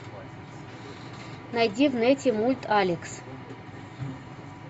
найди в нете мульт алекс